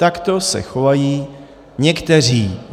Takto se chovají někteří.